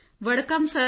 ਵਡੱਕਮ ਵਡਾਕਾਮ